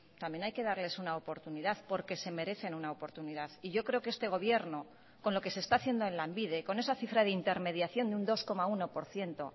también hay que darles una oportunidad porque se merecen una oportunidad y yo creo que este gobierno con lo que se está haciendo en lanbide con esa cifra de intermediación de un dos coma uno por ciento